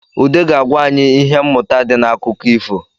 Ụde ga-agwa anyị ihe mmụta di n’akụkọ ifo